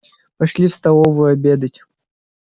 пошли в столовую обедать